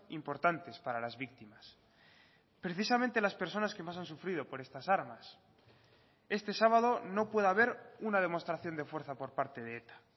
importantes para las víctimas precisamente las personas que más han sufrido por estas armas este sábado no puede haber una demostración de fuerza por parte de eta